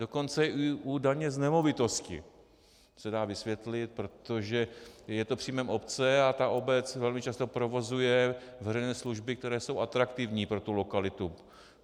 Dokonce i u daně z nemovitosti se dá vysvětlit, protože je to příjmem obce a ta obec velmi často provozuje veřejné služby, které jsou atraktivní pro tu lokalitu.